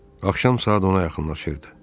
Axşam saat ona yaxınlaşırdı.